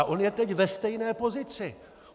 A on je teď ve stejné pozici.